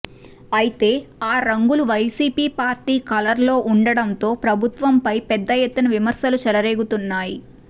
అయితే ఆ రంగులు వైసీపీ పార్టీ కలర్ లో ఉండడంతో ప్రభుత్వంపై పెద్ద ఎత్తున విమర్శలు చెలరేగుతున్నాయి